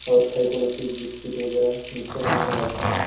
और खाइक वाला चीज बिस्किट वैगरह मिक्स्चर मनो राखीन अहय।